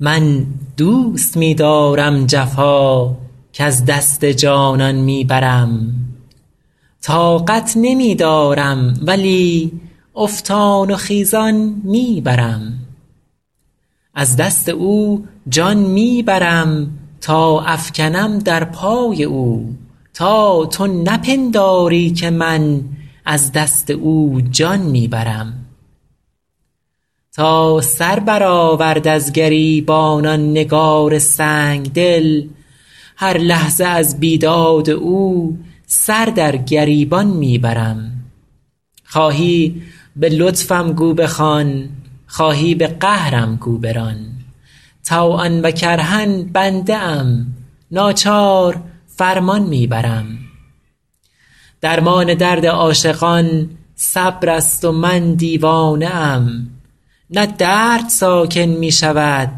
من دوست می دارم جفا کز دست جانان می برم طاقت نمی دارم ولی افتان و خیزان می برم از دست او جان می برم تا افکنم در پای او تا تو نپنداری که من از دست او جان می برم تا سر برآورد از گریبان آن نگار سنگ دل هر لحظه از بیداد او سر در گریبان می برم خواهی به لطفم گو بخوان خواهی به قهرم گو بران طوعا و کرها بنده ام ناچار فرمان می برم درمان درد عاشقان صبر است و من دیوانه ام نه درد ساکن می شود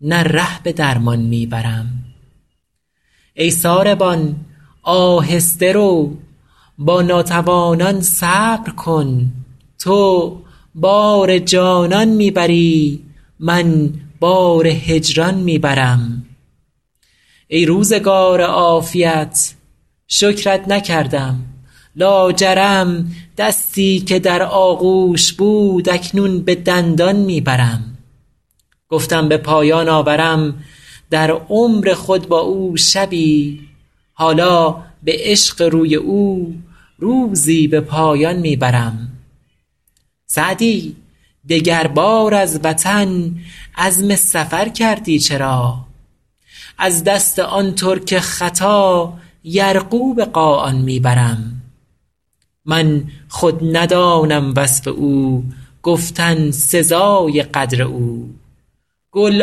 نه ره به درمان می برم ای ساربان آهسته رو با ناتوانان صبر کن تو بار جانان می بری من بار هجران می برم ای روزگار عافیت شکرت نکردم لاجرم دستی که در آغوش بود اکنون به دندان می برم گفتم به پایان آورم در عمر خود با او شبی حالا به عشق روی او روزی به پایان می برم سعدی دگربار از وطن عزم سفر کردی چرا از دست آن ترک خطا یرغو به قاآن می برم من خود ندانم وصف او گفتن سزای قدر او گل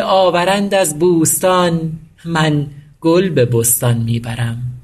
آورند از بوستان من گل به بستان می برم